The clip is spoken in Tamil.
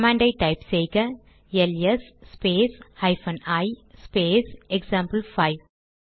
கமாண்ட் டைப் செய்க L S space hyphen I space example 5